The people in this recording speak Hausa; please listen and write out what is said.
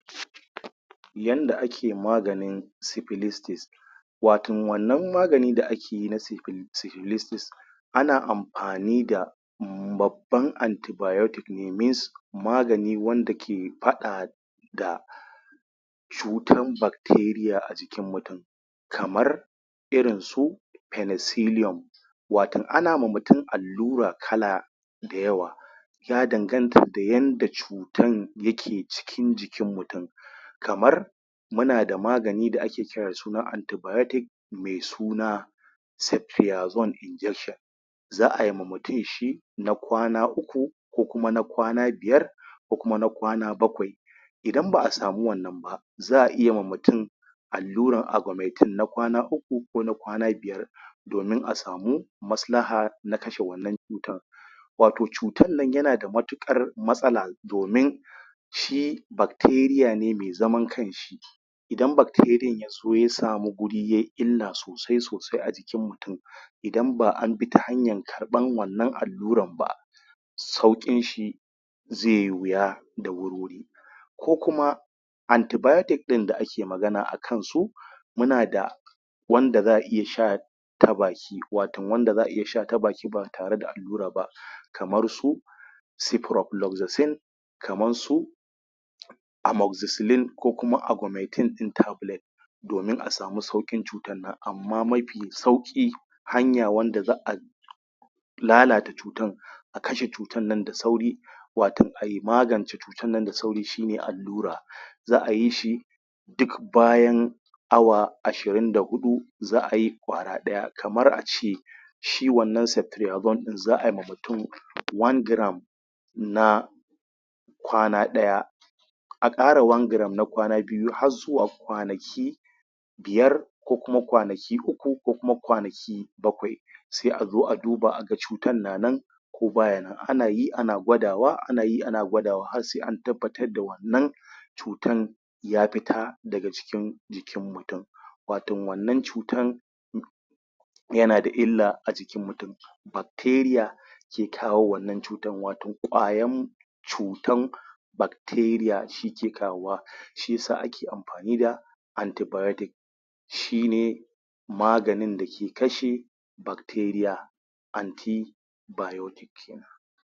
Yanda ake maganin syphilistis watan wannan magani da ake na syphil syphilistis ana amfani da mbab ban antibiotic ne, means magani wanda ke faɗa da cutan bacteria a jikin mutun kamar irin su pennicilium watan ana ma mutun al lura kala da yawa ya danganta da yanda cutan yake cikin jikin mutun kamar muna da magani da ake kira da suna antibiotic mai suna sephiazone injection za ai ma mutun shi na kwana uku ko kuma na kwana biyar ko kuma na kwana bakwai idan ba'a sami wannan ba za'a iya ma mutun allurar augmentin na kwana uku ko na kwana biyar domin a samu maslaha na kashe wannan cutan wato cutan nan yana da matuƙar matsala domin shi bacteria ne mai zaman kan shi idan bacterian yazo ko ya samu guri ye illa sosai sosai a jikin mutun idan ba an bi ta hanyan karɓan wannan allurar ba sauƙin shi zaiyi wuya da wurwuri ko kuma antibiotic ɗin da ake magana akan su muna da wanda za'a iya sha ta baki watan wanda za'a iya sha ta baki ba tare da allura ba kamar su ceproflaxcine kaman su amoxiciline ko kuma augmentine ɗin tablet domin a sami sauƙin cutan nan, amma mafi sauƙi hanya wanda za'a lalata cutan akashe cutan nan da sauri watan ai magance cu tan nan da sauri shi ne allura za'a yi shi dik bayan awa ashirin da huɗu za'a yi ƙwara ɗaya kamar a ce shi wannan sep phiazone ɗin, za ai ma mutun one gram na kwana ɗaya a ƙara one gram na kwana biyu har zuwa kwanaki biyar ko kuma kwana ki uku ko kuma kwanaki bakwai sai a zo a duba a ga cutan na nan ko baya nan, ana yi ana gwadawa ana yi ana gwadawa har sai an tabbatar da wannan cutan ya fita daga cikin jikin mutun watan wannan cutan yana da illa a jikin mutun bacteria ke kawo wannan cutan, wato ƙwayam cutan bacteria shi ke kawo wa shiyasa ake amfani da antibiotic shi ne maganin dake kashe bacteria anti biotic.